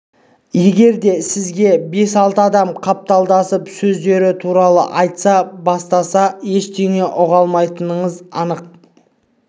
егерде сізге бес-алты адам қапталдасып өздері туралы айта бастаса ештеңе ұға алмайтыныңыз анық